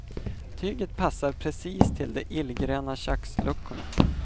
Tyget passar precis till de illgröna köksluckorna.